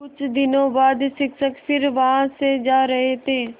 कुछ दिनों बाद शिक्षक फिर वहाँ से जा रहे थे